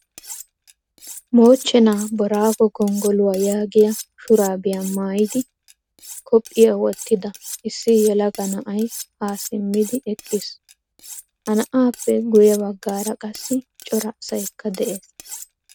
Moochcheena Boorago gonggoluwaa yaagiyaa shurabiyaa maayidi kopiyaa wotida issi yelaga na'ay ha simmidi eqqiis. Ha na'appe guye baggaara qassi cora asaykka de'ees.